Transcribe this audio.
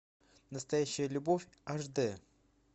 настоящая любовь аш дэ